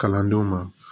Kalandenw ma